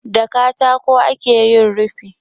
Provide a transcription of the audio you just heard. Da katako ake yin rufi.